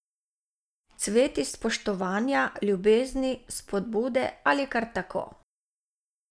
Cvet iz spoštovanja, ljubezni, spodbude ali kar tako.